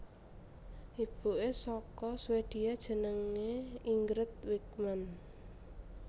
Ibuke saka Swedia jenenge Ingrid Wickman